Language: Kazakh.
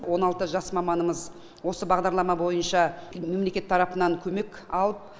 он алты жас маманымыз осы бағдарлама бойынша мемлекет тарапынан көмек алып